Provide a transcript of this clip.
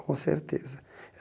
Com certeza.